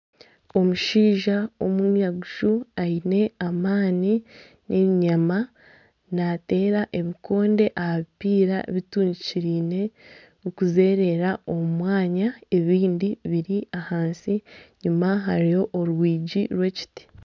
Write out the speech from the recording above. Omushaija omwiraguju aine amaani n'enyama nateera ebikonde aha bipiira bitungikireine bikuzerera omu mwanya. Ebindi biri ahansi. Enyima hariyo orwigi rw'ekiti.